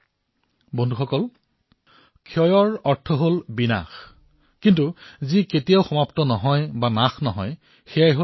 বন্ধুসকল ক্ষয়ৰ অৰ্থ হল বিনাশ কিন্তু যি কেতিয়াও বিনাশ নহয় যি কেতিয়াও সমাপ্ত নহয় সেয়াই হল অক্ষয়